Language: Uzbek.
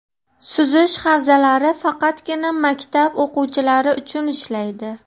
suzish havzalari faqatgina maktab o‘quvchilari uchun ishlaydi.